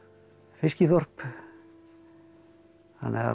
fiskiþorp þannig að